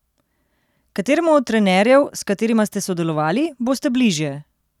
Kateremu od trenerjev, s katerima ste sodelovali, boste bližje?